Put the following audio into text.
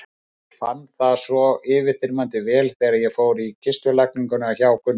Ég fann það svo yfirþyrmandi vel þegar ég fór í kistulagninguna hjá Gunna.